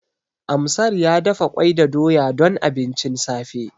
Amsar ya dafa ƙwai da doya don abincin safe.